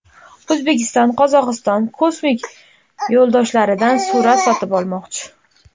O‘zbekiston Qozog‘iston kosmik yo‘ldoshlaridan suratlar sotib olmoqchi.